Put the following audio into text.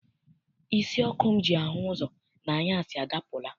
Isi ọkụ m ji ahụ ụzọ n'anyasị adapụla.